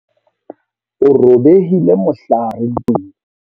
O robehile mohlare ntweng.